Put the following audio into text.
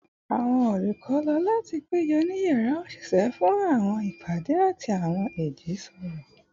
Awọn olukọ lo lati pejọ ni yara oṣiṣẹ fun awọn ipade ati awọn ijiroro